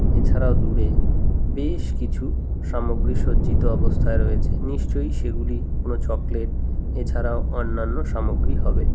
এছাড়াও দূরে বেশ কিছু সামগ্রী সজ্জিত অবস্থায় রয়েছে নিশ্চয়ই সেগুলি কোন চকলেট এছাড়াও অন্যান্য সামগ্রী হবে।